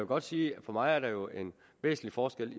godt sige at for mig er der jo en væsentlig forskel